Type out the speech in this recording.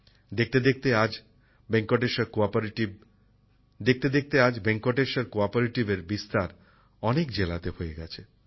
দেখতে দেখতে আজ ভেঙ্কটেশ্বর কোঅপারেটিভের প্রসার অনেক জেলাতে হয়ে গেছে